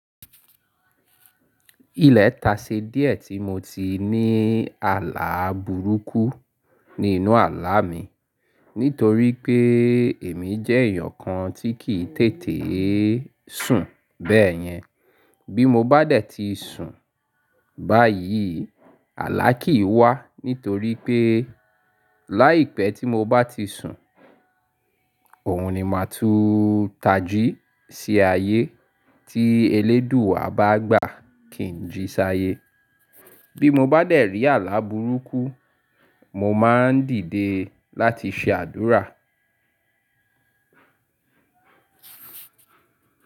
Ilẹta ṣe díẹ̀ tí mo ti ní àlàá burúkú ní inú àlàá mi. Nítorí pé èmi jẹ́ èèyàn kan tí kì í tètè sùn. Bẹ́ẹ̀ yẹn, bí mo bá dẹ̀ ti sùn báyìí, àlàá kì í wá. Nítorí pé láìpẹ́ tí mo bá ti sùn, òun ni máa tú tají sí ayé tí eléèdúù à bá gbà kì í jí ṣáyé. Bí mo bá dẹ̀ rí àlàá burúkú, mo máa ń dìde láti ṣe àdúrà.